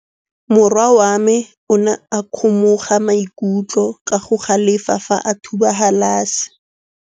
Morwa wa me o ne a kgomoga maikutlo ka go galefa fa a thuba galase.